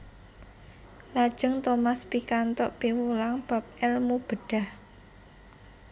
Lajeng Thomas pikantuk piwulang bab èlmu bedhah